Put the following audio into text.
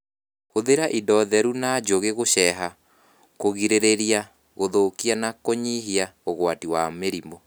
Hũthĩra indo theru na njũgĩ gũceha kũgirĩrĩria gũthũkia na kũnyihia ũgwati wa mĩrimũ